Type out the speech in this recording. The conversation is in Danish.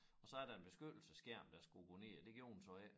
Og så er der en beskyttelsesskærm der skulle gå ned og det gjorde den så ikke